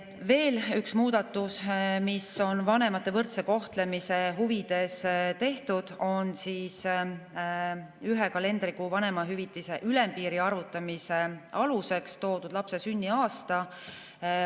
Veel üks muudatus, mis on vanemate võrdse kohtlemise huvides tehtud, on see, et ühe kalendrikuu vanemahüvitise ülempiiri arvutamise aluseks on lapse sünniaasta.